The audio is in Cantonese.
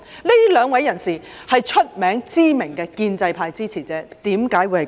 這兩位人士是著名的建制派支持者，為何會這樣？